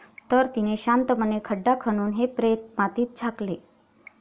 तर तीने शांतपणे खड्डा खणून हे प्रेत मातीत झाकले.